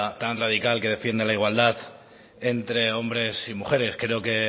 tan radical que defiende la igualdad entre hombres y mujeres creo que